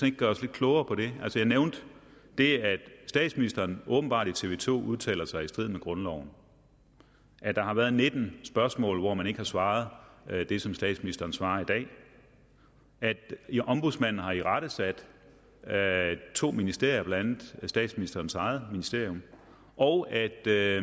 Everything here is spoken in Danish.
ikke gøre os lidt klogere på det jeg nævnte det at statsministeren åbenbart i tv to udtaler sig i strid med grundloven at der har været nitten spørgsmål hvor man ikke har svaret det som statsministeren svarer i dag at ombudsmanden har irettesat to ministerier blandt andet statsministerens eget ministerium og at der